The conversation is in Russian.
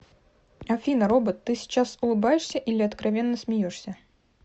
афина робот ты сейчас улыбаешься или откровенно смеешься